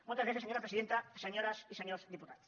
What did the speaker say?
moltes gràcies senyora presidenta senyores i senyors diputats